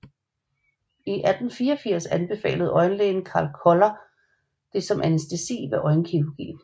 I 1884 anbefalede øjenlægen Carl Koller det som anæstesi ved øjenkirurgi